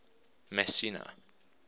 messina